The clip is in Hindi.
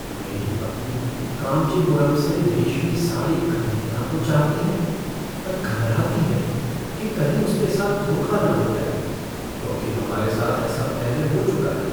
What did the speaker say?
मेरी पत्नी कांचीपुरम से रेशमी साड़ी खरीदना तो चाहती है पर घबराती है कि कहीं उसके साथ धोखा न हो जाए, क्योंकि हमारे साथ ऐसा पहले हो चुका है।